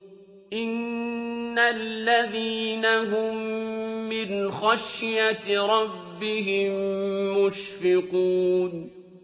إِنَّ الَّذِينَ هُم مِّنْ خَشْيَةِ رَبِّهِم مُّشْفِقُونَ